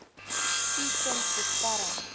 u kind beskerm